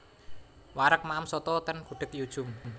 Wareg maem soto ten Gudeg Yu Djum